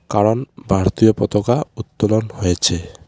কারণ ভারতীয় পতাকা উত্তোলন হয়েছে.